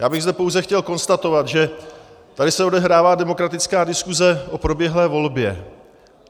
Já bych zde pouze chtěl konstatovat, že tady se odehrává demokratická diskuse o proběhlé volbě.